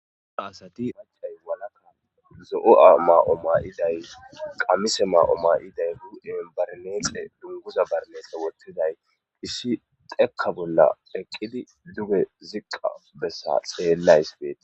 ubba asati paccay walaka zo7o7a maa7o maayiday qammise maa7o maayiday hu7en barneexe dunguza barneexe wottiday issi xekka bolla eqqidi duge ziqqa bessa xeellays beet.